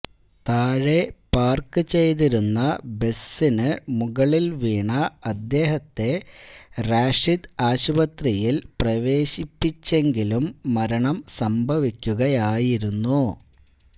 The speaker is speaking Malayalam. താഴെ പാര്ക്ക് ചെയ്തിരുന്ന ബസിന് മുകളില് വീണ അദ്ദേഹത്തെ റാഷിദ് ആശുപത്രിയില് പ്രവേശിപ്പിച്ചെങ്കിലും മരണം സംഭവിക്കുകയായിരുന്നു